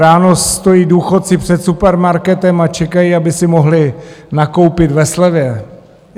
Ráno stojí důchodci před supermarketem a čekají, aby si mohli nakoupit ve slevě.